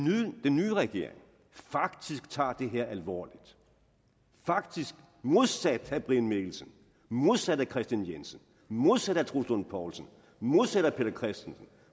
nye regering faktisk tager det her alvorligt faktisk modsat herre brian mikkelsen modsat herre kristian jensen modsat herre troels lund poulsen modsat herre peter christensen